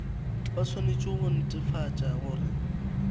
ba swanetše go netefatša gore